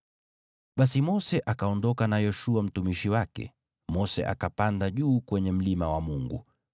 Basi Mose akaondoka na Yoshua mtumishi wake, naye Mose akapanda juu kwenye mlima wa Mungu.